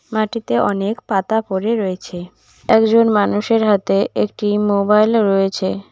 মাটিতে অনেক পাতা পড়ে রয়েছে একজন মানুষের হাতে একটি মোবাইল -ও রয়েছে।